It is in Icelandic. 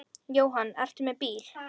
Jóhann: Ertu með bíl?